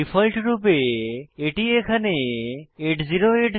default রূপে এটি এখানে 8080